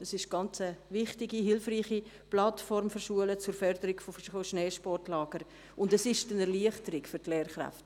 Dies ist eine sehr wichtige, hilfreiche Plattform für Schulen zur Förderung von Schneesportlagern, und es ist eine Erleichterung für die Lehrkräfte.